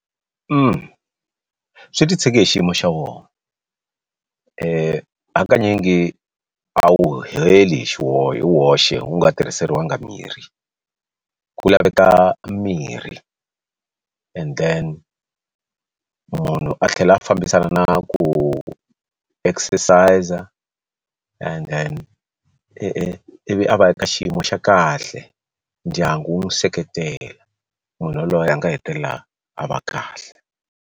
Swi titshege hi xiyimo xa wona hakanyingi a wu heli hi Hi woxe wu nga tirhiseriwangi mirhi ku laveka mirhi and then munhu a tlhela a fambisana na ku exercise-a and then i vi a va ka xiyimo xa kahle ndyangu wu n'wi seketela munhu yaloye a nga hetelela a va kahle.